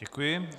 Děkuji.